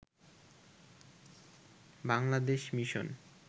Bangladesh mission